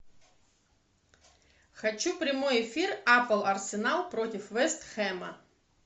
хочу прямой эфир апл арсенал против вест хэма